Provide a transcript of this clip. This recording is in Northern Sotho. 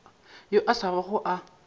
yo a sa bago a